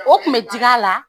O kun bɛ digi a la